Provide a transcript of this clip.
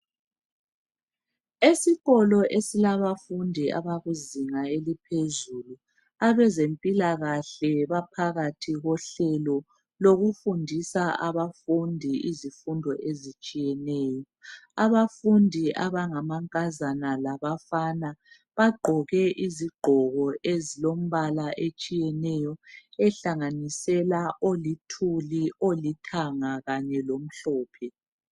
Esikolo esilabafundi abakuzinga eliphezulu abezempilakahle baphakathi kohlelo lokufundisa abafundi izifundo ezitshiyeneyo. Abafundi abangabafana lamankazana bagqoke izigqoko ezilombala etshiyeneyo ohlanganisela olithuli, olithanga kanye lomhlophe.